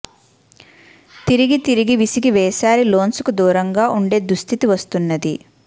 తిరిగి తిరిగి విసిగి వేసారి లోన్స్కు దూరంగా ఉండే దుస్థితి వస్తున్నది